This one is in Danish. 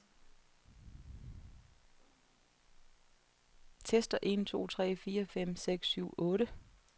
Tester en to tre fire fem seks syv otte.